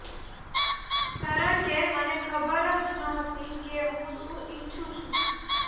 કારણકે મને ખબર જ નહોતી કે હું શું ઈચ્છું છું